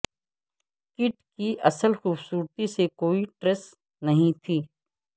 Kate کی اصل خوبصورتی سے کوئی ٹریس نہیں تھی